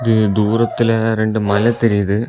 இது தூரத்துல ரெண்டு மலை தெரியுது.